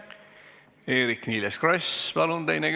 Eerik-Niiles Kross, teine küsimus, palun!